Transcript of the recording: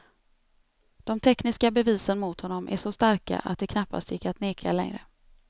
De tekniska bevisen mot honom är så starka att det knappast gick att neka längre.